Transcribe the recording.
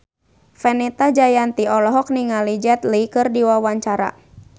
Fenita Jayanti olohok ningali Jet Li keur diwawancara